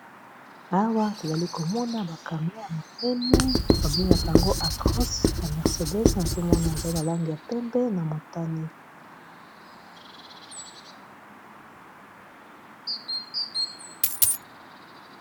Awa tozali komona ba kamion ya monene babengaka yango atroce ya mercedes nazo mona ezali na lange ya pembe na motani